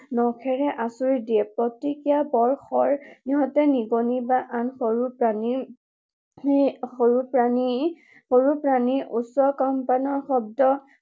নখেৰে আঁচুৰি দিয়ে। প্ৰতিক্ৰিয়া বৰ খৰ। ইহতে নিগনি বা আন সৰু প্ৰাণীৰ, সৰু প্ৰাণী, সৰু প্ৰাণীৰ উচ্চ কম্পনৰ শব্দ